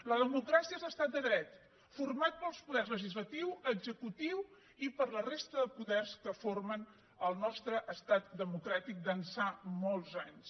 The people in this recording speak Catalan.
la democràcia és l’estat de dret format pels poders legislatiu executiu i per la resta de poders que formen el nostre estat democràtic d’ençà molts anys